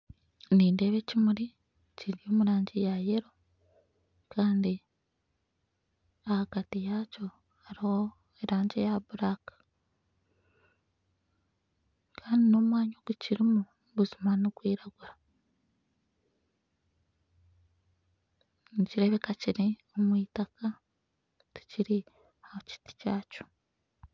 Nindeeba ekimuri kiri omurangi ya Yelo kandi ahagati yaakyo hariho erangi eya buraka Kandi nomwanya ogu kirimu buzima nigwiragura nikireebeka kiri omwitaka kiri ahakiti kyakyo